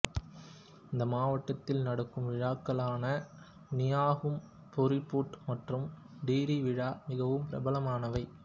இந்த மாவட்டத்தில் நடக்கும் விழாக்களான நியோகும் பூரிபூட் மற்றும் டிரீ விழா மிகவும் பிரபலமானவை